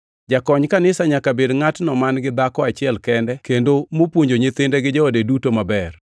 Jakony kanisa nyaka bed ngʼatno man-gi dhako achiel kende kendo mopuonjo nyithinde gi joode duto maber.